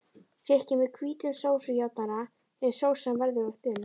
Þykkið með hvítum sósujafnara ef sósan verður of þunn.